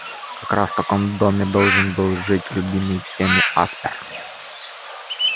как раз в таком доме должен был жить любимый всеми аспер